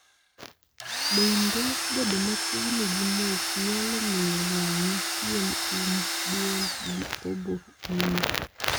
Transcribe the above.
bende , bedo machiegni gi mols nyalo miyo wang'i, piem, um, duol gi obo ili.